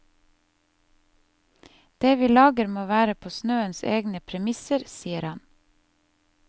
Det vi lager, må være på snøens egne premisser, sier han.